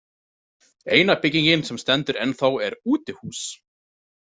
Eina byggingin sem stendur ennþá er útihús.